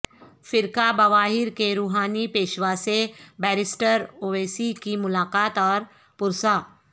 فرقہ بواہیر کے روحانی پیشوا سے بیرسٹر اویسی کی ملاقات اور پرسہ